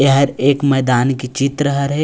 यह हर एक मैदान के चित्र हरे--